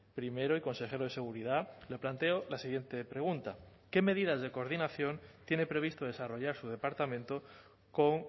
primero y coonsejero de seguridad le planteo la siguiente pregunta qué medidas de coordinación tiene previsto desarrollar su departamento con